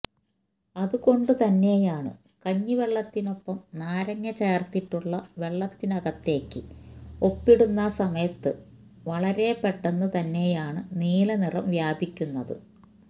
അത് കൊണ്ട് തന്നെയാണ് കഞ്ഞിവെള്ളത്തിനൊപ്പം നാരങ്ങ ചേര്ത്തിട്ടുള്ള വെള്ളത്തിനകത്തേക്ക് ഉപ്പിടുന്ന സമയത്ത് വളരെ പെട്ടെന്ന് തന്നെയാണ് നീലനിറം വ്യാപിക്കുന്നത്